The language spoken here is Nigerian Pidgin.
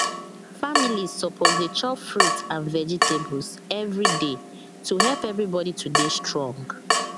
families suppose dey chop fruit and vegetables every day to help everybody to dey strong